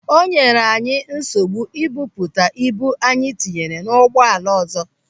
O nyere anyị nsogbu ibuputa ibu anyị tinye n'ụgbọala ọzọ.